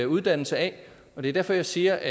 uddannelse af og det er derfor jeg siger at